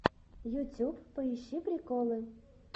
ютюб поищи приколы